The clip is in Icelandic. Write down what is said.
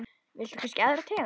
Viltu kannski aðra tegund?